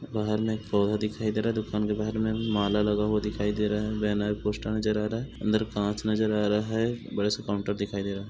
बाहर में एक पौधा दिखाई दे रहा हे दूकान के बाहर में माला लगा हुआ दिखाई दे रहा हे बैनर पोस्टर नज़र आ रहा हे अंदर कांच नज़र आ रहा हे बड़ा सा काउंटर दिखाई दे रहा है।